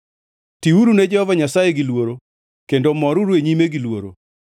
Tiuru ne Jehova Nyasaye gi luoro kendo moruru e nyime gi luoro.